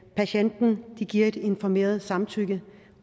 patienten giver et informeret samtykke